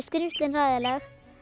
skrímslin hræðileg